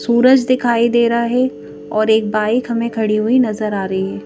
सूरज दिखाई दे रहा है और एक बाइक हमें खड़ी हुई नजर आ रही --